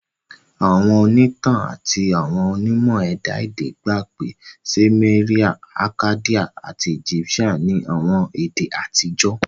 Àwọn ònítàn àti àwọn onímọ̀ ẹ̀dá èdè gba pé pé Seumerian, Akkadian ati Egyptian ni àwọn èdè àtijọ́